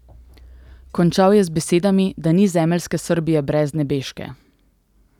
Končal je z besedami, da ni zemeljske Srbije brez nebeške.